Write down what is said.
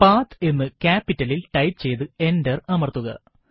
പത്ത് എന്ന് capital ലിൽ ടൈപ്പ് ചെയ്ത് എന്റർ അമർത്തുക